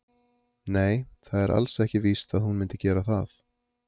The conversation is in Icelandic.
Nei, það er alls ekki víst að hún myndi gera það.